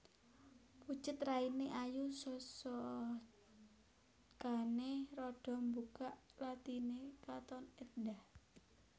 Pucet rainé ayu sosocané rada mbukak lathiné katon éndhah